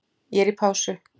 Ég er í pásu.